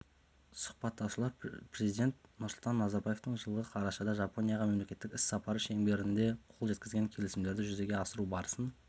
сұхбаттасушылар президент нұрсұлтан назарбаевтың жылғы қарашада жапонияға мемлекеттік іс-сапары шеңберінде қол жеткізген келісімдерді жүзеге асыру барысын